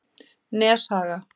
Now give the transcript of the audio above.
Neshaga